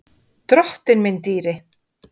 Drottinn minn dýri!